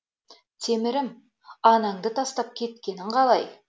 темірім анаңды тастап кеткенін қалай